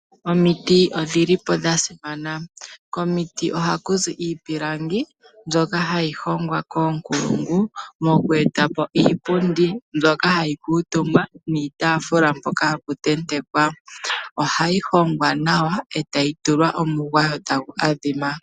Omiti odhili po dha simana. Komiti ohaku zi iipilangi, mbyoka hayi hongwa koonkulungu, moku etapo iipundi mbyoka hayi kuutumbwa niitaafula mpoka hapu tentekwa. Ohayi hongwa nawa etayi tulwa omugwayo tagu adhima.